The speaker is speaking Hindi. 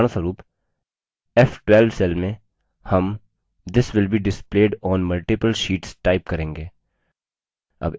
उदाहरणस्वरूप f12 cell में हम this will be displayed on multiple sheets type करेंगे